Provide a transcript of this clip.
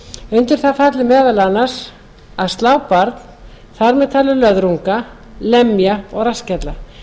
undir það falli meðal annars að slá barn þar með talið löðrunga lemja og rassskella